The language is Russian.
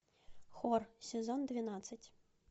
хор сезон двенадцать